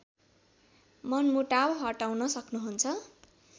मनमुटाव हटाउन सक्नुहुन्छ